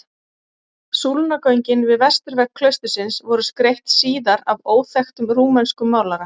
Súlnagöngin við vesturvegg klaustursins voru skreytt síðar af óþekktum rúmenskum málara.